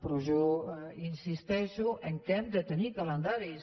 però jo insisteixo que hem de tenir calendaris